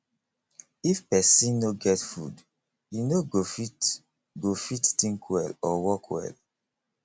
if pesin no get food e no go fit go fit think well or work well